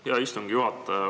Hea istungi juhataja!